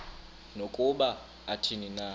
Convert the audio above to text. nokuba athini na